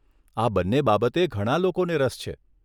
આ બંને બાબતે ઘણાં લોકોને રસ છે.